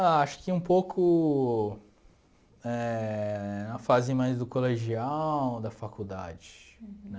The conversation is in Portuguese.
Ah, acho que um pouco eh na fase mais do colegial ou da faculdade, né?